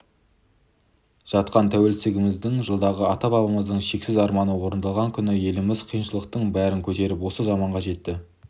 жатқан тәуелсіздігіміздің жылдығы ата-бабамыздың шексіз арманы орындалған күні еліміз қиыншылықтың бәрін көтеріп осы заманға жетті